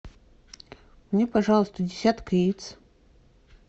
мне пожалуйста десяток яиц